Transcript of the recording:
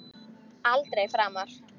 Aldrei framar!